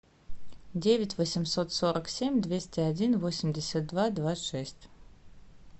девять восемьсот сорок семь двести один восемьдесят два два шесть